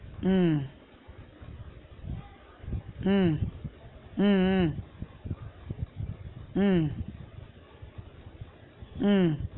உம் உம் உம் உம் உம் உம்